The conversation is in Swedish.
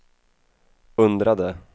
undrade